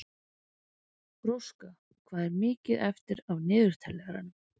Róska, hvað er mikið eftir af niðurteljaranum?